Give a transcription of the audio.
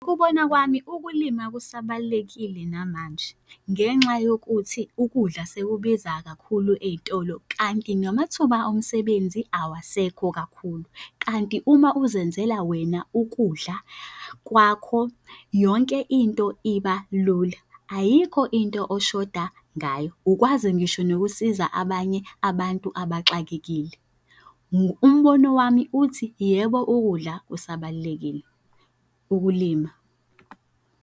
Ukubona kwami ukulima kusabalulekile namanje ngenxa yokuthi ukudla sekubiza kakhulu ey'tolo kanti namathuba omsebenzi awasekho kakhulu. Kanti uma uzenzela wena ukudla kwakho yonke into iba lula, ayikho into oshoda ngayo ukwazi ngisho nokusiza abanye abantu abaxakekile. Umbono wami uthi, yebo ukudla kusabalulekile, ukulima.